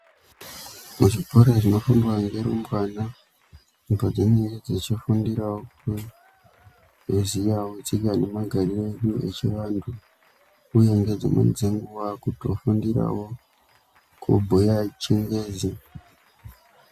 Muzvikora zvinofundwa ngerumbwana apo dzinenge dzichifundirawo veiziyawo tsika nemagariro edu echivantu, uye ngedzimweni dzenguva kutofundirawo kubhuya chingezi.